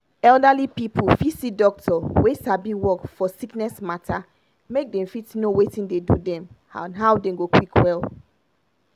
elderly pipu fit see doctor wey sabi work for sickness matter make dem fit know watin dey do dem and how dem go quick well.